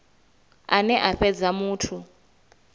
ane a fhedza a muthu